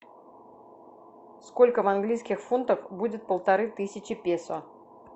сколько в английских фунтах будет полторы тысячи песо